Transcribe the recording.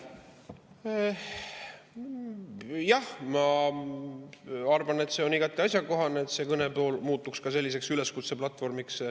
Jah, ma arvan, et see on igati asjakohane, et see kõne muutuks ka selliseks üleskutseplatvormiks.